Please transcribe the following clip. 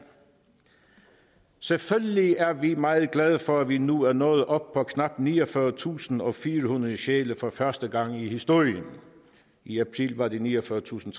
selvfølgelig er vi meget glade for at vi nu er nået op på knap niogfyrretusinde og firehundrede sjæle for første gang i historien i april var det niogfyrretusinde